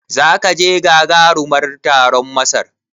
Zaka je gagaruman taron Masar?